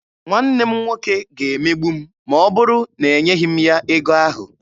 Nwanne m nwoke ga-emegbu m ma ọ bụrụ na enyeghị m ya ego ahụ.